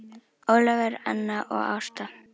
Ólafur, Anna og Ásta.